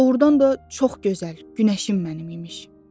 Doğrudan da çox gözəl günəşim mənim imiş.